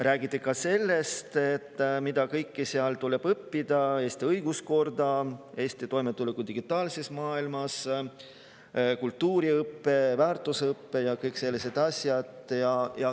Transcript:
Räägiti sellest, mida kõike seal tuleb õppida: Eesti õiguskord, Eesti toimetulek digitaalses maailmas, kultuuriõpe, väärtusõpe ja kõik sellised asjad.